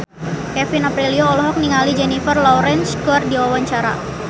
Kevin Aprilio olohok ningali Jennifer Lawrence keur diwawancara